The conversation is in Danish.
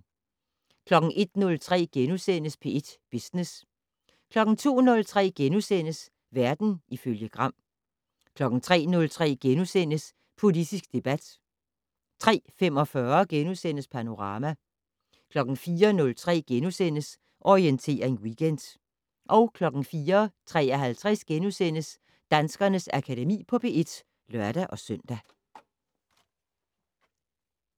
01:03: P1 Business * 02:03: Verden ifølge Gram * 03:03: Politisk debat * 03:45: Panorama * 04:03: Orientering Weekend * 04:53: Danskernes Akademi på P1 *(lør-søn)